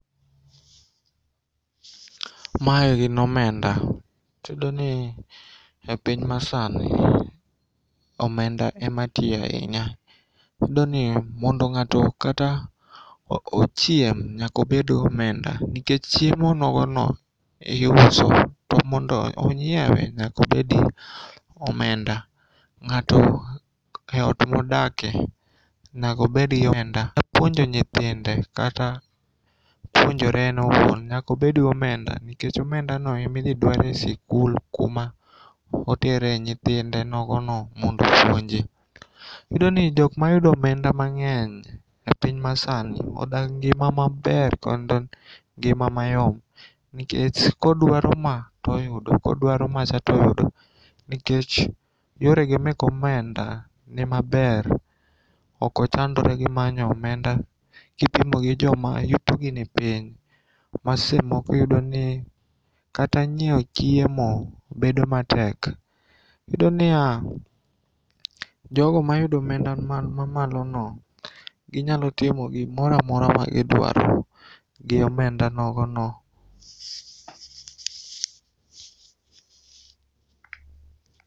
Mae gin omenda to iyudoni e piny masani omenda ema tiyo ainya. Iyudoni mondo ng'ato kata ochiem nyakobedgi omenda nikech chiemo nogono iuso to mondo onyiewe nyakobedgi omenda.Ng'ato eot modake nego obedgi omenda puonjo nyithinde kata puonjore en owuon nyakobedgi omenda nikech omendano emidhi dwar e sikul kuma otere nyithinde nogono mondo opuonji. Iyudoni jokmayudo omenda mang'eny e piny masani odak ngima maber kod ngima mayom nikech kodwaro ma toyudo, kodwaro macha toyudo nekech yorege mek omenda nii maber okochandre gi manyo omenda kipimo gi joma yutogi ni piny ma sechemoko iyudoni kata nyieo chiemo bedo matek. Iyudo niya jogo mayudo omenda man mamalono ginyalotimo gimoramora ma gidwaro gi omendanogono.